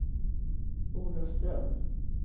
Olofström